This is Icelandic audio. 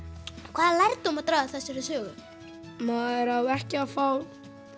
hvaða lærdóm má draga af þessari sögu maður á ekki að fá